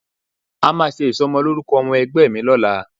A máa ṣe ìsọmọlórúkọ ọmọ Ẹ̀gbọ́n mi lọ́la